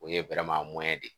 O ye de ye